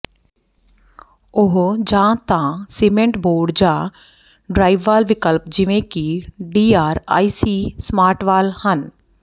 ਉਹ ਜਾਂ ਤਾਂ ਸੀਮੈਂਟ ਬੋਰਡ ਜਾਂ ਡ੍ਰਾਈਵਵਾਲ ਵਿਕਲਪ ਜਿਵੇਂ ਕਿ ਡੀਆਰਆਈਸੀ ਸਮਾਰਟਵਾਲ ਹਨ